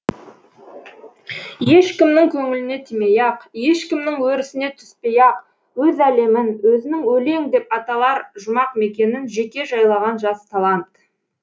ешкімнің көңіліне тимей ақ ешкімнің өрісіне түспей ақ өз әлемін өзінің өлең деп аталар жұмақ мекенін жеке жайлаған жас талант